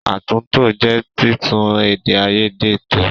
Àtúntò jẹ́ títún èdè àìyedè tò.